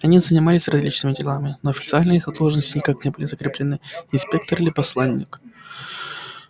они занимались различными делами но официально их должности никак не были закреплены инспектор или посланник